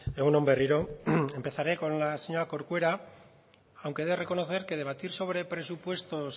egun on berriro empezaré con la señora corcuera aunque he de reconocer que debatir sobre presupuestos